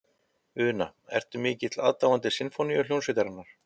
Una: Ertu mikill aðdáandi Sinfóníuhljómsveitarinnar?